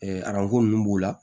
aranko ninnu b'o la